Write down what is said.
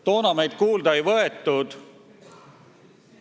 Toona meid kuulda ei võetud.